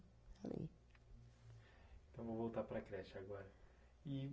Ali. Então, vou voltar para a creche agora. E